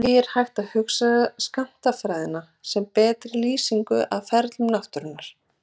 Því er hægt að hugsa skammtafræðina sem betri lýsingu á ferlum náttúrunnar.